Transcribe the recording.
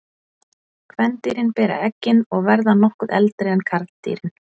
Kvendýrin bera eggin og verða nokkuð eldri en karldýrin.